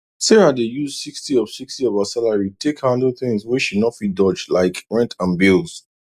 sarah dey use 60 of 60 of her salary take handle things wey she no fit dodgelike rent and bills